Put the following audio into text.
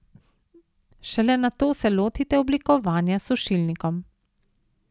Šele nato se lotite oblikovanja s sušilnikom.